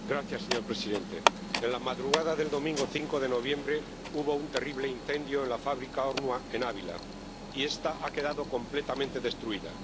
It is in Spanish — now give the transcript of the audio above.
Señor presidente, en la madrugada del domingo 5 de noviembre hubo un terrible incendio en la fábrica de Ornua en Ávila, y esta ha quedado completamente destruida.